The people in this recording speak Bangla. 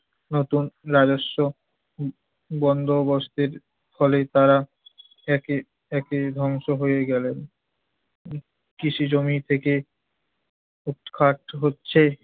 নতুন রাজস্ব উম বন্দোবস্তের ফলে তারা একে একে ধ্বংস হয়ে গেলেন। ‍কৃষিজমি থেকে উৎখাত হচ্ছে